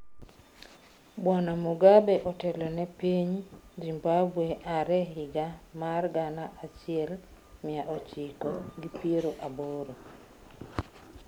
Bwana Mugabe otelone piny Zimbabwe are yiga mar gana achiel mia ochiko gi piero aboro.